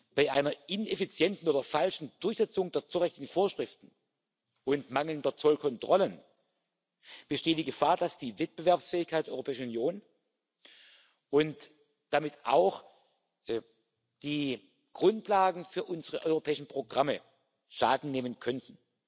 Bei einer ineffizienten oder falschen Durchsetzung der zollrechtlichen Vorschriften und mangelnden Zollkontrollen besteht die Gefahr, dass die Wettbewerbsfähigkeit der Europäischen Union und damit auch die Grundlagen unserer europäischen Programme Schaden nehmen könnten.